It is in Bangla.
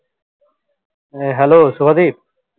A hello Subhadwip